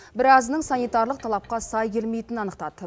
біразының санитарлық талапқа сай келмейтінін анықтады